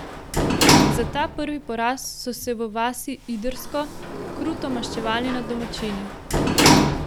Za ta prvi poraz so se v vasi Idrsko kruto maščevali nad domačini.